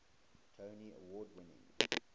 tony award winning